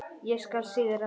Ég skal sigra!